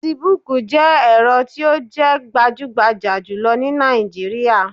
Fasibuuku jẹ́ ẹ̀rọ tí o jẹ́ gbajúgbajà jùlọ ni Nàìjíríà